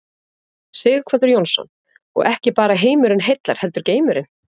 Sighvatur Jónsson: Og ekki bara heimurinn heillar heldur geimurinn?